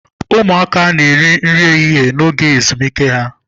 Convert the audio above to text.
Ụmụaka na-eri nri ehihie n'oge ezumike ha.